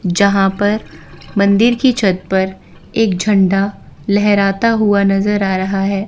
जहां पर मंदिर की छत पर एक झंडा लहराता हुआ नजर आ रहा है।